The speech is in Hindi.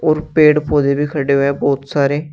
और पेड़ पौधे भी खड़े हुए हैं बहुत सारे।